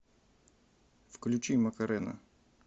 включи макарена